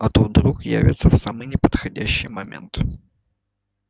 а то вдруг явятся в самый неподходящий момент